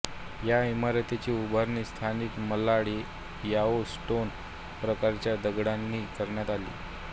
या इमारतीची उभारणी स्थानिक मालाड यलो स्टोन प्रकारच्या दगडांनी करण्यात आली